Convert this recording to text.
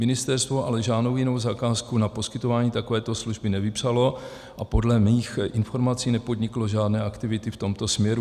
Ministerstvo ale žádnou jinou zakázku na poskytování takovéto služby nevypsalo a podle mých informací nepodniklo žádné aktivity v tomto směru.